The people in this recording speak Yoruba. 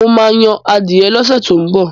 Mo ma yan adìẹ lọ́sẹ̀ tó ń bọ̀